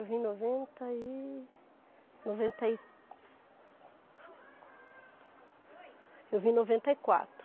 Eu vim em noventa e... noventa e Eu vim em noventa e quatro.